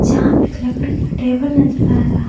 यहाँ पे एक लकड़ी का टेबल नजर आ रहा--